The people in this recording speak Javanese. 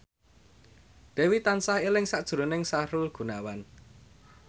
Dewi tansah eling sakjroning Sahrul Gunawan